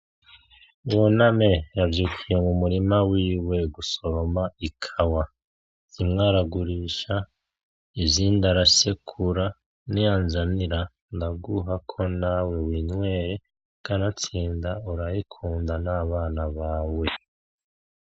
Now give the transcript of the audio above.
Buname yazindukiye mumurima wiwe gusoroma ikawa, zimwe aragurisha izindi arasekura niyanzanira ndaguhako nawe winywere kanatsinda urayikunda nabana bawe.